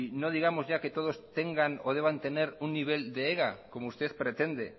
no digamos ya que todos tengan o deban tener un nivel de ega